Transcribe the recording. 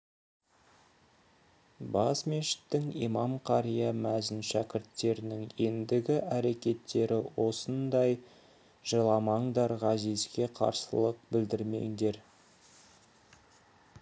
бас мешіттің имам қария мәзін шәкірттерінің ендігі әрекеттері осылай жыламаңдар ғазизге қарсылық білдірмеңдер